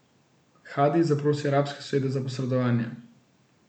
Hadi zaprosi arabske sosede za posredovanje.